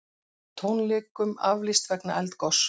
Tónleikum aflýst vegna eldgoss